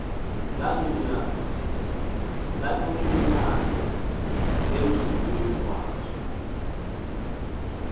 lancinane emgxunyeni waso